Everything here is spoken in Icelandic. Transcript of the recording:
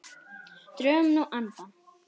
Drögum nú andann.